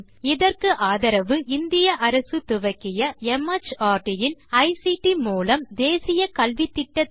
இதற்கு ஆதரவு இந்திய அரசு துவக்கிய மார்ட் இன் ஐசிடி மூலம் தேசிய கல்வித்திட்டத்தின் வழியே கிடைக்கிறது